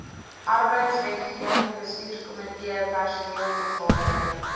arbeidswetgewing bestuurskomitee personeelvergadering